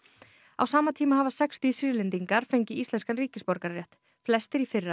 á sama tíma hafa sextíu Sýrlendingar fengið íslenskan ríkisborgararétt flestir í fyrra